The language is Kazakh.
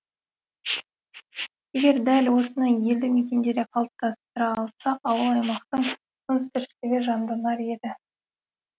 егер дәл осыны елді мекендерде қалыптастыра алсақ ауыл аймақтың тыныс тіршілігі жанданар еді